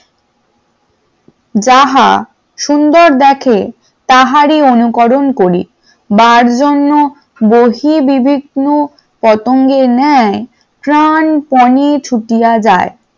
সুন্দর দেখে তাহারি অনুকরণ করি বারজন্য বহিবিবিন্ন পতঙ্গের ন্যায় প্রাণপণে ছুটিয়া যায় ।